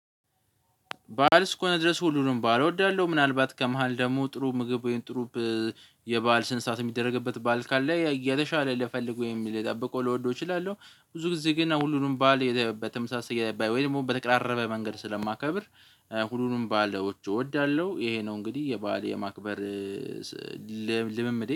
በዓል እስከሆነ ድረስ ሁሉንም በዓል እወዳለሁ። ምናልባት ከመሃል ደግሞ ጥሩ ምግብ ወይም ጥሩ ብ የበአል ስነስርዓት የሚደረግበት በዓል ካለ የተሻለ ልፈልግ ወይም ልጠበቀው ልወደው እችላለሁ። ብዙ ጊዜ ግን ሁሉንም በዓል የተ በተመሳሳይ ወይ ደሞ በተቀራረበ መንገድ ስለማከብር ሁሉንም በዓሎች እወዳለሁ ይሄ ነው እንግዲህ የበአል የማክበር ስ ልምምዴ